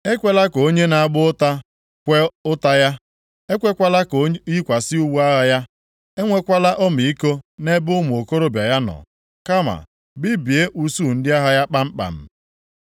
Ekwela ka onye na-agba ụta kwee ụta ya, ekwekwala ka o yikwasị uwe agha ya. Enwekwala ọmịiko nʼebe ụmụ okorobịa ya nọ, kama bibie usuu ndị agha ya kpamkpam.